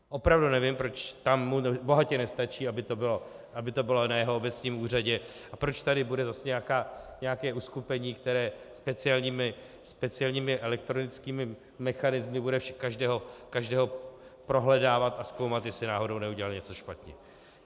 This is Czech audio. Opravdu nevím, proč tam mu bohatě nestačí, aby to bylo na jeho obecním úřadě, a proč tady bude zase nějaké uskupení, které speciálními elektronickými mechanismy bude každého prohledávat a zkoumat, jestli náhodou neudělal něco špatně.